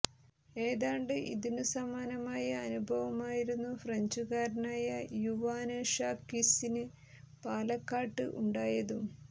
ഏതാണ്ട് ഇതിനു സമാനമായ അനുഭവമായിരുന്നു ഫ്രഞ്ചുകാരനായ യുവാന് ഷാക്വിസിന് പാലക്കാട്ട് ഉണ്ടായതും